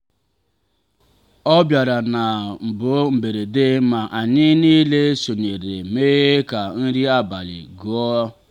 ọbịara ha bụ mberede ma anyị niile sonyere mee ka nri abalị gụọ.